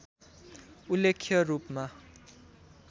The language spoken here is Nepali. उल्लेख्य रूपमा